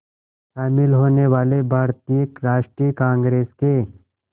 शामिल होने वाले भारतीय राष्ट्रीय कांग्रेस के